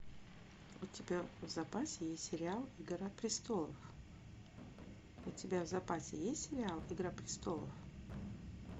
у тебя в запасе есть сериал игра престолов у тебя в запасе есть сериал игра престолов